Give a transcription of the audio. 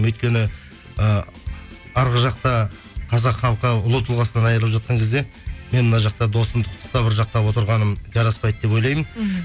өйткені і арғы жақта қазақ халқы ұлы тұлғасынан айрылып жатқан кезде мен мына жақта досымды құттықтап ыржақтап отырғаным жараспайды деп ойлаймын мхм